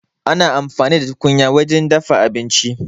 Ana amfani da tukunya wurin dafa abinci